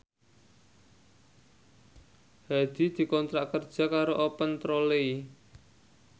Hadi dikontrak kerja karo Open Trolley